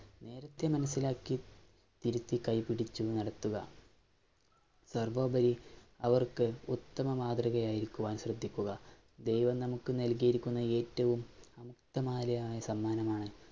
നേരത്തേ മനസ്സിലാക്കി, തിരുത്തി കൈപിടിച്ചു നടത്തുക. സര്‍വ്വോപരി അവര്‍ക്ക് ഉത്തമ മാതൃകയായിരിക്കുവാന്‍ ശ്രദ്ധിക്കുക. ദൈവം നമുക്കു നല്‍കിയിരിക്കുന്ന ഏറ്റവും സമ്മാനമാണ്